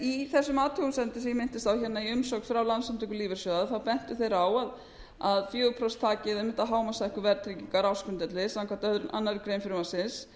í þessum athugasemdum sem ég minntist á hérna í umsögn frá landssamtökum lífeyrissjóða þá bentu þeir á að fjögur prósent þakið einmitt á hámarkshækkun verðtryggingar á ársgrundvelli samkvæmt annarri grein frumvarpsins